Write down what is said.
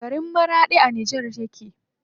Garin Maraɗi a Nijar yake.